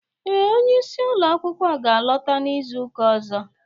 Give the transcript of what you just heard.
Ee, onye isi ulo akwụkwọ ga alota n'izuka ọzọ